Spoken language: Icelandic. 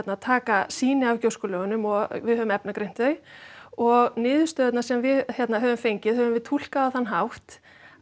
taka sýni af gjóskulögunum og við höfum efnagreint þau og niðurstöðurnar sem við höfum fengið höfum við túlkað á þann hátt